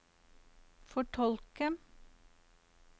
fortolke